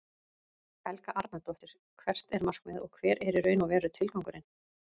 Helga Arnardóttir: Hvert er markmiðið og hver er í raun og veru tilgangurinn?